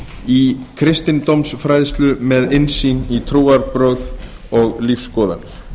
í kristindómsfræðslu með innsýn í trúarbrögð og lífsskoðanir